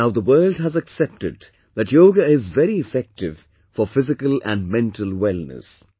Now, the world has accepted that yoga is very effective for physical and mental wellness